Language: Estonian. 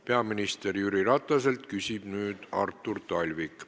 Peaminister Jüri Rataselt küsib nüüd Artur Talvik.